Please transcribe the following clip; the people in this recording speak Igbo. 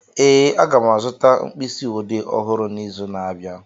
Ee, aga m azụta mkpịsị odee ọhụrụ n'izu na-abịa